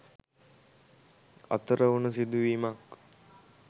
අතර වුණ සිදුවීමක්.